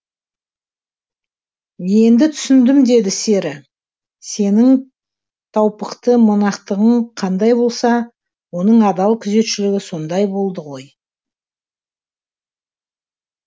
енді түсіндім деді сері сенің таупықты монахтығың қандай болса оның адал күзетшілігі сондай болды ғой